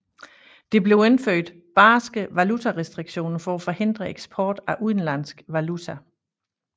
Der blev indført barske valutarestriktioner for at forhindre eksport af udenlandsk valuta